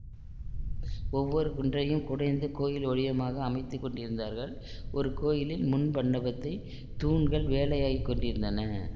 ஒவ்வொரு குன்றையும் குடைந்து கோயில் வடிவமாக அமைத்து கொண்டிருந்தார்கள் ஒரு கோயிலில் முன் மண்டபத்தைத் தூண்கள் வேலையாகிக் கொண்டிருந்தன